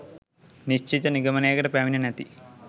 නිශ්චිත නිගමනයකට පැමිණ නැති